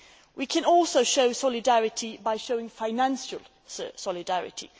We can also show solidarity by showing financial solidarity.